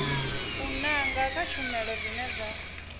nanga kha tshumelo dzine dza